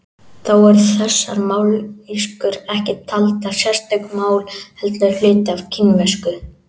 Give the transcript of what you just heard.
Þó eru þessar mállýskur ekki taldar sérstök mál heldur hluti af kínversku.